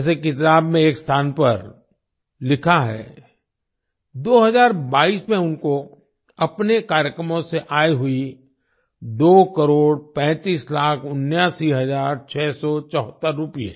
जैसे किताब में एक स्थान पर लिखा है 2022 में उनको अपने कार्यक्रमों से आय हुई दो करोड़ पैंतीस लाख उन्यासी हजार छः सौ चौहत्तर रूपए